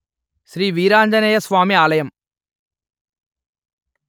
శ్రీ వీరాంజనేయ స్వామి ఆలయం